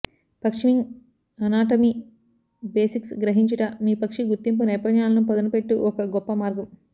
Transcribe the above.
పక్షి wing anatomy basics గ్రహించుట మీ పక్షి గుర్తింపు నైపుణ్యాలను పదునుపెట్టు ఒక గొప్ప మార్గం